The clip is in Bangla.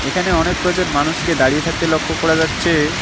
এখানে অনেক কয়জন মানুষকে দাঁড়িয়ে থাকতে লক্ষ করা যাচ্ছে।